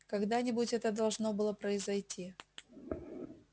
когда-нибудь это должно было произойти